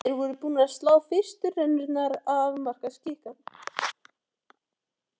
Þeir voru búnir að slá fyrstu rennurnar og afmarka skikann.